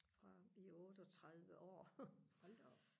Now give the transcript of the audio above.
fra i otteogtredive år